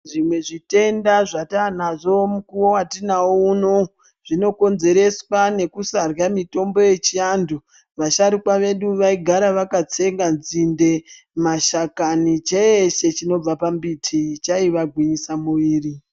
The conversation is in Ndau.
Zvimwe zvitenda zvatanazvo mukuwo watinawo unou zvinokonzeresa nekusarya mitombo yechiantu, vasharukwa bedu vaigara vakatsenga nzinde, mashakani, cheshe chinobva pambiti chaivagwinyisa muviri.